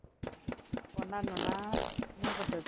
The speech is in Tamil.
கொண்டாடணும்தான் என்ன பண்றது